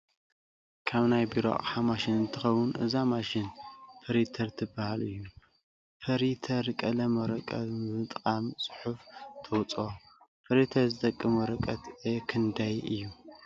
ካብናይ ቢሮ ኣቅሓ ማሽን እትከው እዛ ማሸን ፐሪተር ትበሃል እዩ። ፐሪተር ቀለም ወረቀት ብምጥቃም ፅሑፋ ተውፀኦ:: ፐሪተር ዝጠቅም ወረቀት ኤ ክንዳይ እዩ ?